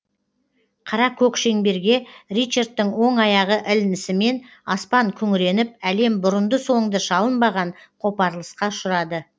қара көк шеңберге ричардтың оң аяғы ілінісімен аспан күңіреніп әлем бұрынды соңды шалынбаған қопарылысқа ұшырады